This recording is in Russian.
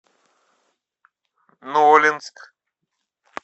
нолинск